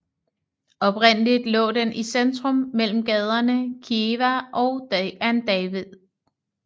Oprindeligt lå den i centrum mellem gaderne Kiewa and David